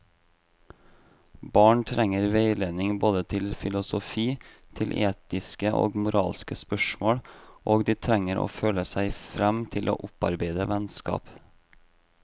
Barn trenger veiledning både til filosofi, til etiske og moralske spørsmål, og de trenger å føle seg frem til å opparbeide vennskap.